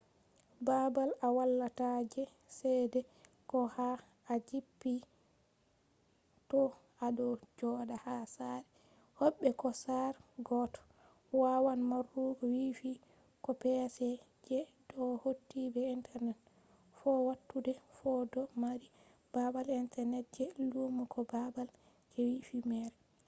babal a walata je chede ko ha a jippi to ado joda ha sare hobbe ko sare goddo wawan marugo wifi ko pc je do hauti be internet bo fattude fu do mari babal internet je lumo ko babal je wifi mere